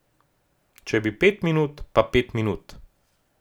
Če bi pet minut, pa pet minut.